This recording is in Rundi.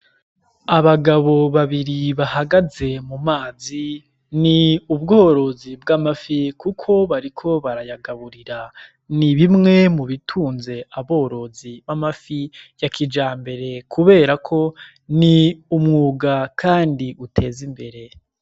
Abagabo babiri bahagaze mu mazi, ni ubworozi bw'amafi kuko bariko barayagaburira. Ni bimwe mu bitunze aborozi b'amafi ya kijambere kuberako ni umwuga kandi uteza imbere.